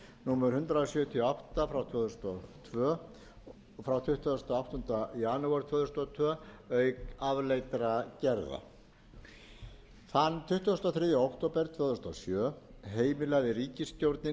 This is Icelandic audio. númer hundrað sjötíu og átta tvö þúsund og tvö frá tuttugasta og áttundi janúar tvö þúsund og tvö auk afleiddra gerða þann tuttugasta og þriðja október tvö þúsund og sjö heimilaði ríkisstjórnin